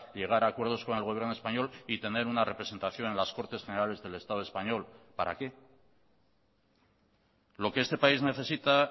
llegar a acuerdos con el gobierno español y tener una representación en las cortes generales del estado español para qué lo que este país necesita